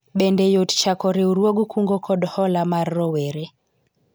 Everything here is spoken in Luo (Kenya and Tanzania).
bende yot chako riwruog kungo kod hola mar rowere ?